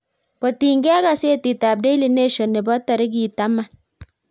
kotiny ge ak gazetit ab daily nation nebo tarik taman